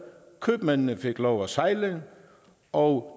købmændene fik lov at sejle og